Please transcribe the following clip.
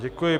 Děkuji.